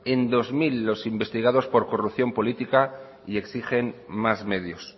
en dos mil los investigados por corrupción política y exigen más medios